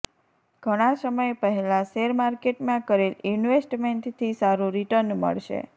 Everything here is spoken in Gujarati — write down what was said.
ઘણા સમય પહેલા શેર માર્કેટમાં કરેલ ઇન્વેસ્ટમેન્ટથી સારું રીટર્ન મળશે